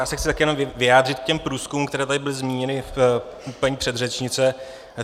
Já se chci také jenom vyjádřit k těm průzkumům, které tady byly zmíněny u paní předřečnice.